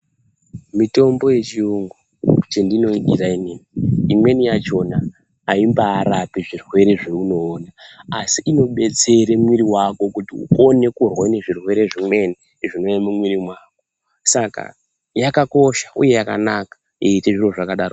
Mitombo yechiyungu, chendinoidira inini imweni yachona, aimbaarape zvirwere zveunoona, asi inobetsera mwiri wako kuti ukone kurwa nezvirwere zvinouya mumuviri wako, yakakosha, uye yakanaka, yeiite zviro zvakadaro.